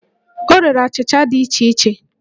O rere achịcha dị iche iche